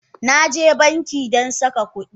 Na je banki don saka kudi.